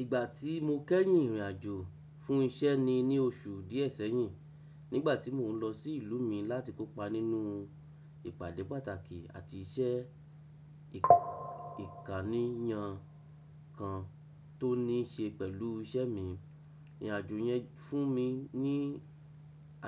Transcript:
Ìgbà tí mo kẹ́yìn ìrìnàjò fún isẹ́ ni ní oṣù díẹ̀ sẹ́yìn, nígbà tí mò ń lọ sí ìlú mi láti kópa nínú ìpàdé pàtàkì àti iṣẹ́ ìkànìyàn kan tó ní ṣe pẹ̀lú isẹ́ mi. Ìrìnàjò yẹn fún mi ní